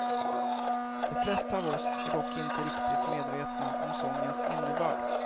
De flesta av oss är dock inte riktigt medvetna om sångens innebörd.